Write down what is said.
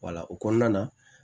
Wala o kɔnɔna na